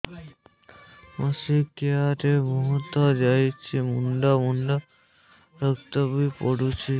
ମାସିକିଆ ରେ ବହୁତ ଯାଉଛି ମୁଣ୍ଡା ମୁଣ୍ଡା ରକ୍ତ ବି ପଡୁଛି